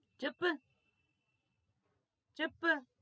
છપડ